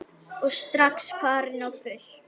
Og strax farin á fullt.